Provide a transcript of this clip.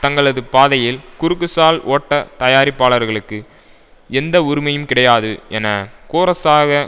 தங்களது பாதையில் குறுக்குசால் ஓட்ட தயாரிப்பாளர்களுக்கு எந்த உரிமையும் கிடையாது என கோரஸாக